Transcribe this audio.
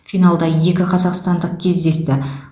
финалда екі қазақстандық кездесті